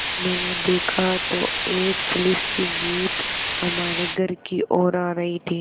मैंने देखा तो एक पुलिस की जीप हमारे घर की ओर आ रही थी